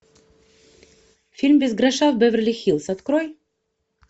фильм без гроша в беверли хиллз открой